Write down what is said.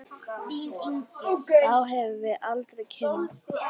Þá hefðum við aldrei kynnst